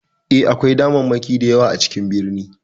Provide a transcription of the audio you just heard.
E, akwai damammaki da yawa a cikin birni.